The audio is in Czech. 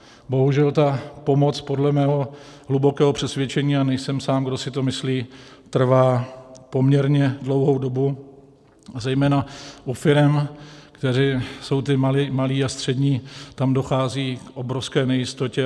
Bohužel ta pomoc podle mého hlubokého přesvědčení, a nejsem sám, kdo si to myslí, trvá poměrně dlouhou dobu, zejména u firem, které jsou ty malé a střední, tam dochází k obrovské nejistotě.